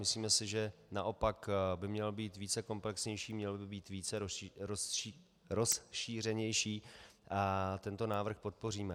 Myslíme si, že naopak by měl být více komplexnější, měl by být více rozšířenější, a tento návrh podpoříme.